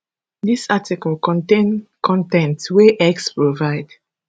dis article contain con ten t wey x provide